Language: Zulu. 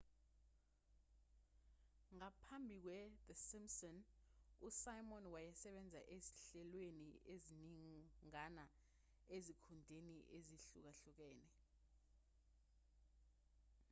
ngaphambi kwethe simpsons usimon wayesebenze ezinhlelweni eziningana ezikhundleni ezihlukahlukene